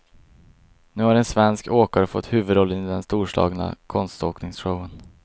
Nu har en svensk åkare fått huvudrollen i den storslagna konståkningsshowen.